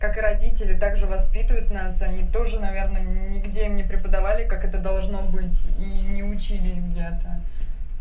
как родители также воспитывают нас они тоже наверное нигде не преподавали как это должно быть и не учились где-то